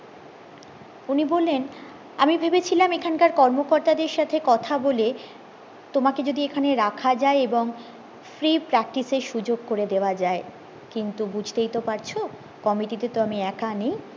উনি বললেন আমি ভেবেছিলাম এখানকার কর্ম কর্তাদের সাথে কথা বলে তোমাকে যদি এখানে রাখা যায় এবং free practice এর সুযোক করে দেওয়া যায় কিন্তু বুঝতেই তো পারছো কমিটিতে তো আমি এক নেই